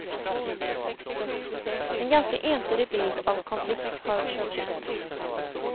En ganska entydig bild av konflikt har körts ut.